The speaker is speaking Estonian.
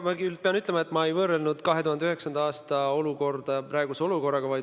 Ma küll pean ütlema, et ma ei võrrelnud 2009. aasta olukorda praeguse olukorraga.